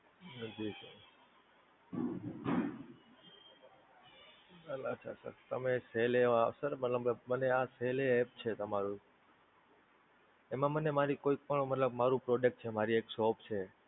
અચ્છા Sir તમે Cell hey માં Sir મતલબ મને આ Cell Hey app છે તમારું, એમાં મને મારી કોઈ પણ મતલબ મારુ Product છે મારી એક shop છે,